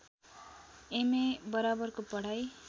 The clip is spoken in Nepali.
एमए बराबरको पढाइ